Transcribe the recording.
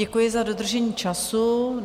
Děkuji za dodržení času.